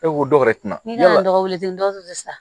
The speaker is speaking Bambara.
E ko dɔw wɛrɛ tina dɔwɛrɛ sa